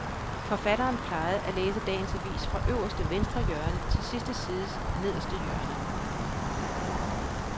Forfatteren plejede at læse dagens avis fra øverste venstre hjørne til sidste sides nederste hjørne.